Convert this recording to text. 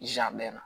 Zan bɛɛn na